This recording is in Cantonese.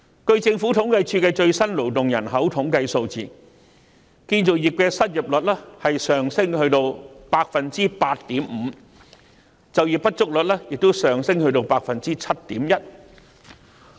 根據政府統計處的最新勞動人口統計數字，建造業的失業率已升至 8.5%， 就業不足率亦升至 7.1%。